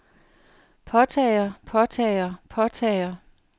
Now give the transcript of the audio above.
påtager påtager påtager